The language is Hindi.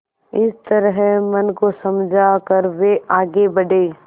इस तरह मन को समझा कर वे आगे बढ़े